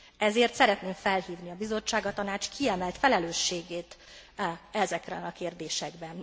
Ezért szeretném felhívni a Bizottság, a Tanács kiemelt felelősségét ezekben a kérdésekben.